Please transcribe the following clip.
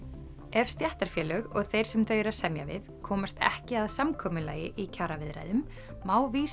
ef stéttarfélög og þeir sem þau eru að semja við komast ekki að samkomulagi í kjaraviðræðum má vísa